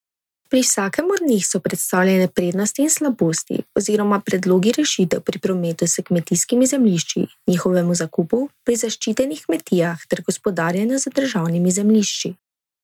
Pri vsakem od njih so predstavljene prednosti in slabosti oziroma predlogi rešitev pri prometu s kmetijskimi zemljišči, njihovemu zakupu, pri zaščitenih kmetijah ter gospodarjenju z državnimi zemljišči.